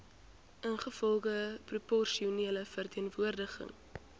ingevolge proporsionele verteenwoordiging